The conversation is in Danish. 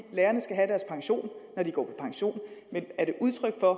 at lærerne skal have deres pension når de går på pension men er det udtryk for